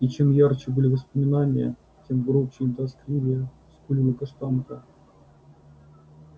и чем ярче были воспоминания тем громче и тоскливее скулила каштанка